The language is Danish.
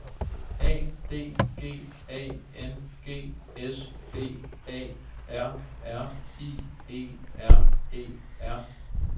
A D G A N G S B A R R I E R E R